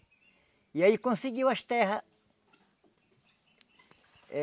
E aí ele conseguiu as terras... É...